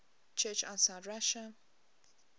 church outside russia